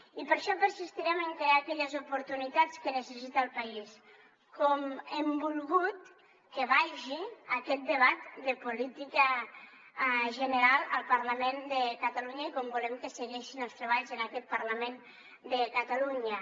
i per això persistirem en crear aquelles oportunitats que necessita el país com hem volgut que vagi aquest debat de política general al parlament de catalunya i com volem que segueixin els treballs en aquest parlament de catalunya